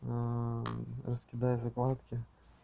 раскидай закладки